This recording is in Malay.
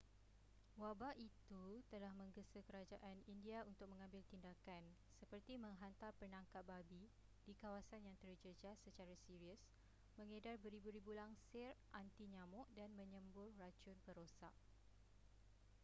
wabak itu telah menggesa kerajaan india untuk mengambil tindakan seperti menghantar penangkap babi di kawasan yang terjejas secara serius mengedar beribu-ribu langsir anti-nyamuk dan menyembur racun perosak